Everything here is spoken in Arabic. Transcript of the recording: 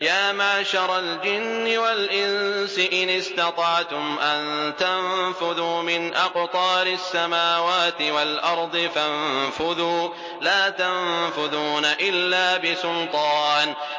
يَا مَعْشَرَ الْجِنِّ وَالْإِنسِ إِنِ اسْتَطَعْتُمْ أَن تَنفُذُوا مِنْ أَقْطَارِ السَّمَاوَاتِ وَالْأَرْضِ فَانفُذُوا ۚ لَا تَنفُذُونَ إِلَّا بِسُلْطَانٍ